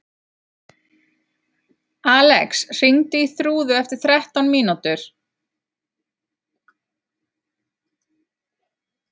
Alex, hringdu í Þrúðu eftir þrettán mínútur.